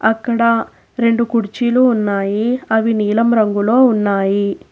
అక్కడ రెండు కుర్చీలు ఉన్నాయి అవి నీలం రంగులో ఉన్నాయి.